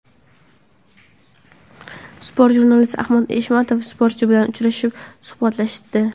Sport jurnalisti Ahmad Eshmatov sportchi bilan uchrashib, suhbatlashdi.